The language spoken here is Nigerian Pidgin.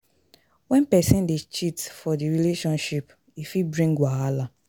When persin de cheat for the relationship e fit bring wahala